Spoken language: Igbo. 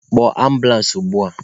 Kpọọ ambụlans ugbua!